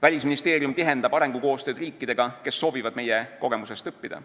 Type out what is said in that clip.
Välisministeerium tihendab arengukoostööd riikidega, kes soovivad meie kogemustest õppida.